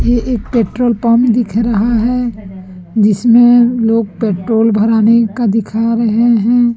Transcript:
ये एक petrol pump दिख रहा है जिसमें लोग पेट्रोल भरने का दिखा रहे हैं।